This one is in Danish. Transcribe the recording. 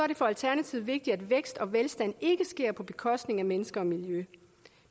det for alternativet vigtigt at vækst og velstand ikke sker på bekostning af mennesker og miljø